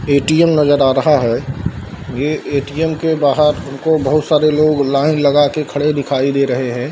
ATM नज़र आ रहा है। ये एटीएम के बाहर हमको बहोत सारे लोग लाइन लगा के खड़े दिखाए दे रहे हैं।